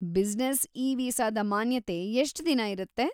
Business ಇ-ವೀಸಾದ ಮಾನ್ಯತೆ ಎಷ್ಟ್ ದಿನ ಇರುತ್ತೆ?